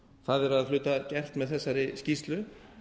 það er að hluta gert með þessari skýrslu